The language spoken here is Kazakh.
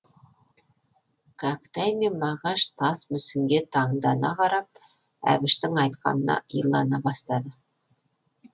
кәкітай мен мағаш тас мүсінге тандана қарап әбіштің айтқанына илана бастады